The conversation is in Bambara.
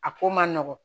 A ko man nɔgɔn